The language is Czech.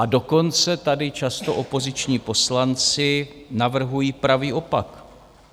A dokonce tady často opoziční poslanci navrhují pravý opak.